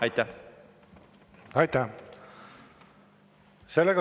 Aitäh!